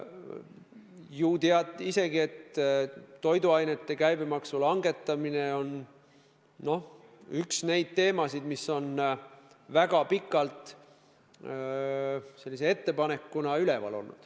Ju tead isegi, et toiduainete käibemaksu langetamine on üks neid teemasid, mis on väga pikalt ettepanekuna laual olnud.